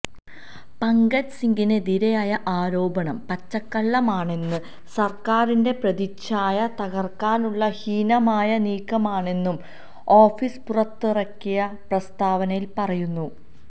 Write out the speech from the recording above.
പങ്കജ് സിംഗിനെതിരായ ആരോപണം പച്ചക്കള്ളമാണെന്നും സര്ക്കാറിന്റെ പ്രതിച്ഛായ തകര്ക്കാനുള്ള ഹീനമായ നീക്കമാണെന്നും ഓഫീസ് പുറത്തിറക്കിയ പ്രസ്താവനയില് പറയുന്നു